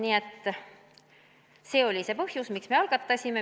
Nii et see oli see põhjus, miks me eelnõu algatasime.